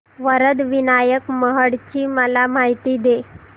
वरद विनायक महड ची मला माहिती दे